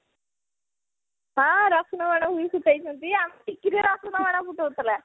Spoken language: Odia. ହଁ ରସୁଣ ବାଣ ବି ଫୁଟେଇଛନ୍ତି ଆମ ଟିକିଲି ରସୁଣ ବାଣ ବି ଫୁଟେଇଥିଲା